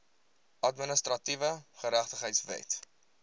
administratiewe geregtigheid wet